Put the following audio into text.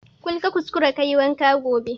Kul ka kuskara kayi wanka gobe